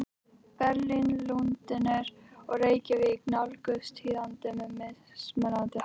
Berlín, Lundúnir og Reykjavík nálguðust tíðindin með mismunandi hætti.